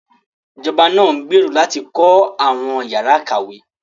Ìjọba náà ń gbèrò láti kọ́ àwọn ìyára ìkàwé